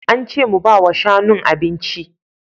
Ance mu bawa shanun abinci